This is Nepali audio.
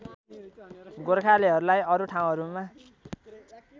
गोर्खालीहरूलाई अरु ठाउँहरूमा